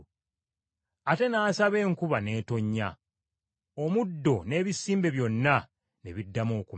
Ate n’asaba enkuba n’etonnya, omuddo n’ebisimbe byonna ne biddamu okumera.